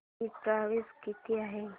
ticket price काय आहे